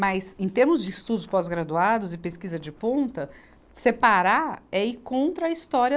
Mas, em termos de estudos pós-graduados e pesquisa de ponta, separar é ir contra a história